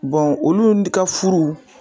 olu ka furu